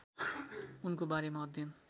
उनको बारेमा अध्ययन